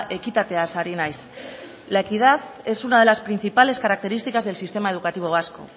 ekitateaz ari naiz la equidad es una de las principales características del sistema educativo vasco